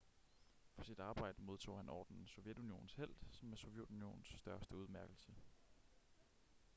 for sit arbejde modtog han ordenen sovjetunionens helt som er sovjetunionens største udmærkelse